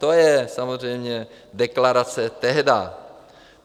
- To je samozřejmě deklarace tehdy.